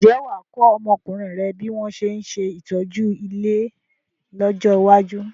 Ǹjẹ́ wà á kọ́ ọmọkùnrin rẹ bí wọn ṣe ń ṣe ìtọ́jú ilé lọ́jọ́ iwájú?